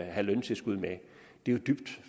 have løntilskud med det er jo dybt